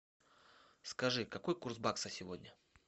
скажи какой курс бакса сегодня